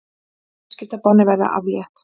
Viðskiptabanni verði aflétt